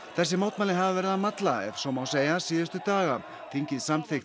þessi mótmæli hafa verið að malla ef svo má segja síðustu daga þingið samþykkti